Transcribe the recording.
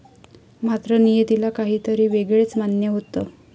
मात्र, नियतीला काहीतरी वेगळच मान्य होतं.